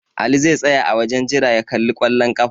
Ali zai tsaya a wajen jira ya kalli ƙwallon ƙafa.